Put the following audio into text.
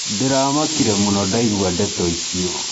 ndĩramakire mũno ndaigua ndeto icio